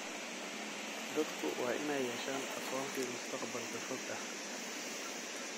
Dadku waa inay yeeshaan aqoonsi mustaqbalka fog ah.